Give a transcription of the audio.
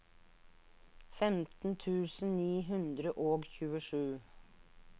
femten tusen ni hundre og tjuesju